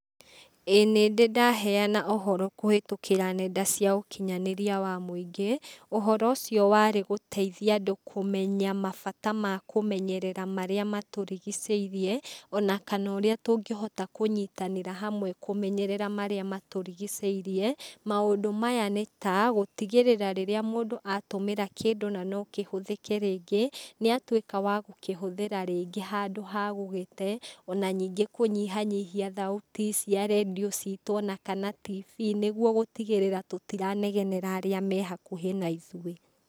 Ĩĩ nĩ ndĩ ndaheana ũhoro kũhĩtũkĩra nenda cia ũkinyanĩria wa mũingĩ. Ũhoro ũcio warĩ gũteithia andũ kũmenya mabata ma kũmenyerera marĩa matũrigicĩirie ona kana ũrĩa tũngĩhota kũnyitanĩra hamwe kũmenyerera marĩa matũrigicĩirie. Maũndũ maya nĩ ta gũtigĩrĩra rĩrĩa mũndũ atũmĩra kĩndũ na no kĩhũthĩke rĩngĩ, nĩ atwĩka wa gũkĩhũthĩra rĩngĩ handũ ha gũgĩte. Ona ningĩ kũnyihanyihia thauti cia rendio citũ ona kana tibii nĩguo gũtigĩrĩra tũtiranegenera arĩa me hakũhĩ na ithuĩ.